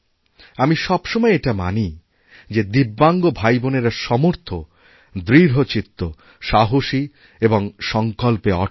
আমি সব সময় এটামানি যে দিব্যাঙ্গ ভাইবোনেরা সমর্থ দৃঢ় চিত্ত সাহসী এবং সংকল্পে অটুট